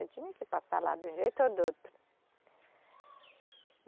Eu tinha que passar lá, de um jeito ou de outro.